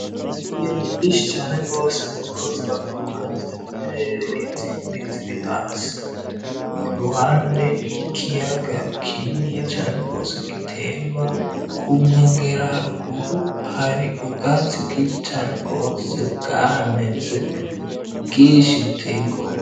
Inyana iminshi cane rwose ziriko ziraguruka ziri mu bireerege izindi zibi hasi i grwande y'ikiyaga kininiya cane rwose gitemba kunkwengera haruguru hari ubwatsi bwinshi cane rwose bwahameze bwinshi buteyegoa.